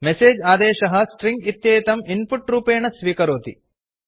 message आदेशः string इत्येतं input रूपेण स्वीकरोति